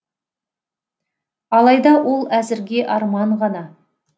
алайда ол әзірге арман ғана